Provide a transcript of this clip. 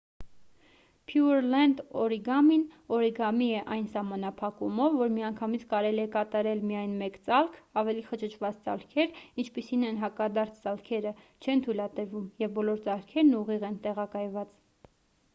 փյուըրլենդ օրիգամին օրիգամի է այն սահմանափակումով որ միանգամից կարելի է կատարել միայն մեկ ծալք ավելի խճճված ծալքեր ինչպիսիք են հակադարձ ծալքերը չեն թույլատրվում և բոլոր ծալքերն ուղիղ են տեղակայված